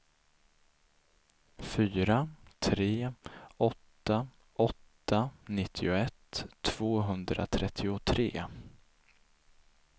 fyra tre åtta åtta nittioett tvåhundratrettiotre